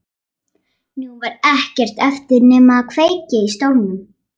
Nú var ekkert eftir nema að kveikja í stólnum.